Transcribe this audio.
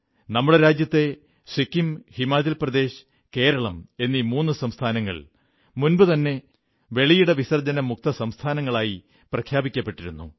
നമ്മുടെ രാജ്യത്തെ സിക്കിം ഹിമാചൽ പ്രദേശ് കേരളം എന്നീ മൂന്നു സംസ്ഥാനങ്ങൾ മുമ്പുതന്നെ വെളിയിടവിസർജ്ജന മുക്ത സംസ്ഥാനങ്ങളായി പ്രഖ്യാപിക്കപ്പെട്ടിരുന്നു